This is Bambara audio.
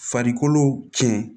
Farikolo cɛn